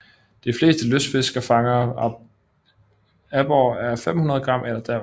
De fleste lystfiskerfangede aborrer er 500 g eller derunder